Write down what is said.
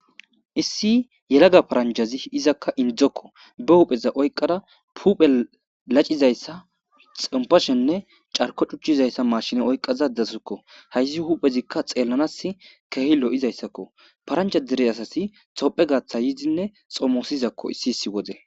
issi yelaga paranjhazi izakka indokko be hupheza oyqara puphe lacizayssa xompashenne carko cuchizayssa mashine oyqazadassikko hayssi huphezikka xeellanas kehi lo7izayssakko parancha dire asasi topphe gatha yidinne xomosizakko issi issi wode